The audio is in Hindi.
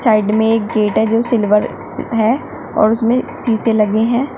साइड में एक गेट है जो सिल्वर है और उसमें शीशे लगे हैं।